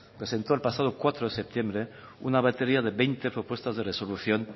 presentó el pasado cuatro de septiembre una batería de veinte propuestas de resolución